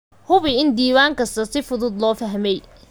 Hubi in diiwaan kasta si fudud loo fahmay.